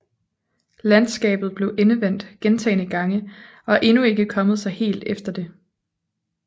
Landskabet blev endevendt gentagne gange og er endnu ikke kommet sig helt efter det